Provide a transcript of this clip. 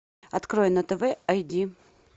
открой на тв ай ди